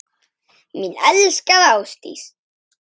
Mín elskaða Ásdís.